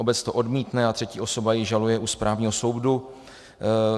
Obec to odmítne a třetí osoba ji žaluje u správního soudu.